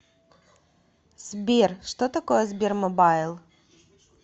сбер что такое сбермобайл